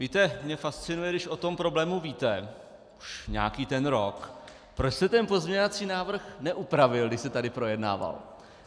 Víte, mě fascinuje, když o tom problému víte už nějaký ten rok, proč jste ten pozměňovací návrh neupravil, když se tady projednával?